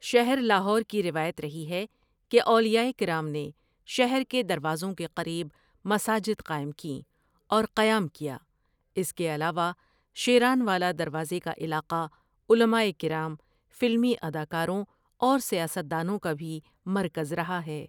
شہر لاہور کی روایت رہی ہے کہ اولیائ کرام نے شہر کے دروازوں کے قریب مساجد قائم کیں اور قیام کیا اس کے علاوہ شیرانوالہ دروازے کے علاقہ علمائے کرام، فلمی اداکاروں اور سیاست دانوں کا بھی مرکز رہا ہے ۔